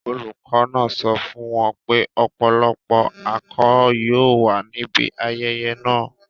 Olùkọ́ náà sọ fún wọn pé ọ̀pọ̀lọpọ̀ alchol yóò wà níbi ayẹyẹ náà.